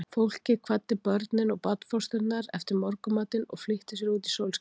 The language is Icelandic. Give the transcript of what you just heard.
Fólkið kvaddi börnin og barnfóstrurnar eftir morgunmatinn og flýtti sér út í sólskinið.